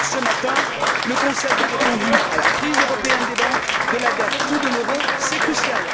Ce matin, le Conseil a répondu à la crise européenne des banques, de la dette ou de l'euro c'est crucial.